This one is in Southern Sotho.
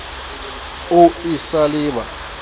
o e sa le ba